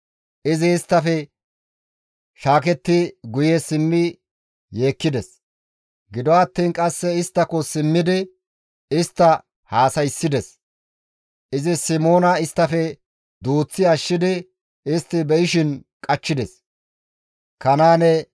Izi isttafe shaaketti guye simmidi yeekkides; gido attiin qasse isttako simmidi istta haasayssides. Izi Simoona isttafe duuththi ashshidi istti be7ishin iza qachchides.